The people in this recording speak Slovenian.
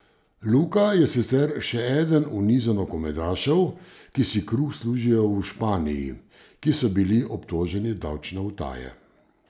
Luka je sicer še eden v nizu nogometašev, ki si kruh služijo v Španiji, ki so bili obtoženi davčne utaje.